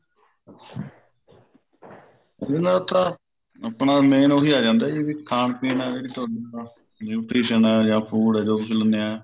ਇਸ ਚ ਨਾ ਆਪਣਾ main ਉਹੀ ਆ ਜਾਂਦਾ ਜੀ ਜਿਵੇਂ ਖਾਣ ਪੀਣ ਨਾਲ ਜਿਹੜੀ nutrition ਐ ਜਾ food ਐ ਜੋ ਕੁੱਛ ਲਿੰਦੇ ਹਾਂ